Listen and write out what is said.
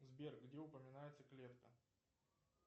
сбер где упоминается клетка